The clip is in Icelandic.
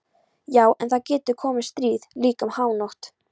Já en það getur komið stríð, líka um hánótt.